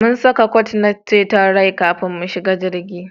Mun saka kwat na ceton rai kafin mu shiga jirgin